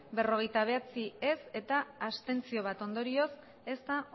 berrogeita bederatzi ez bat abstentzio ondorioz ez da